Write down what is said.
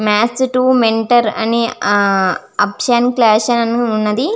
మత్ టు మెంటర్ అని అబ్సన్ క్లాసు అని కూడా వున్నది.